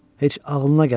Heç ağlına gəlməz.